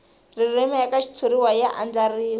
ririmi eka xitshuriwa ya andlariwile